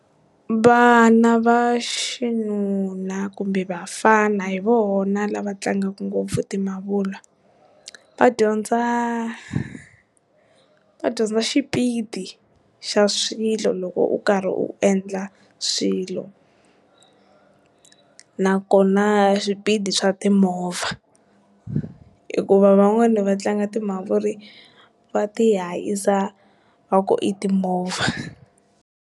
Vana va xinuna kumbe vafana hi vona lava tlangaka ngopfu ti mhavula, va dyondza va dyondza xipidi xa swilo loko u karhi u endla swilo nakona swipidi swa timovha hikuva van'wani va tlanga timhavula va ti hahisa va ku i timovha.